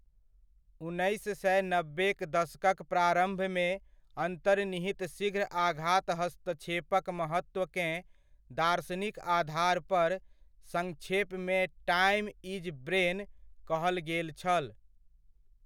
उन्नैस सए नब्बेक दशकक प्रारभमे, अन्तर्निहित शीघ्र आघात हस्तक्षेपक महत्वकेँ दार्शनिक आधार पर संक्षेपमे 'टाइम इज ब्रेन !' कहल गेल छल।